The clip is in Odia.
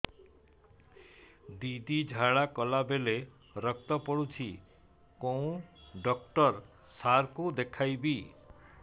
ଦିଦି ଝାଡ଼ା କଲା ବେଳେ ରକ୍ତ ପଡୁଛି କଉଁ ଡକ୍ଟର ସାର କୁ ଦଖାଇବି